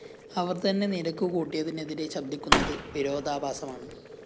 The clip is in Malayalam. അവര്‍ തന്നെ നിരക്ക്‌ കൂട്ടിയതിനെതിരെ ശബ്ദിക്കുന്നത്‌ വിരോധാഭാസമാണ്‌